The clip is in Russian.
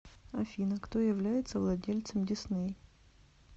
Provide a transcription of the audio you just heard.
афина кто является владельцем дисней